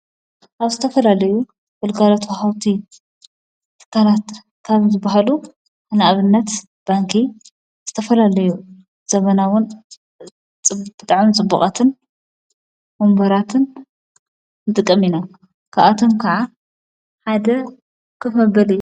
ኣብ ዘተፈላለዩ ወልጋለት ዉሃውቲት ፍካላትር ካብ ዘበሃሉ ሕናእብነት ባንኪ ስተፈላለዩ ዘመናውን ጽብጥዐን ጽቡቓትን ወምበራትን ንጥቕሚኢና ክኣቶም ከዓ ሓደ ኽፍ መበል እዩ።